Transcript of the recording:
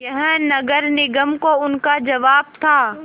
यह नगर निगम को उनका जवाब था